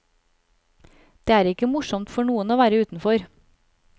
Det er ikke morsomt for noen å være utenfor.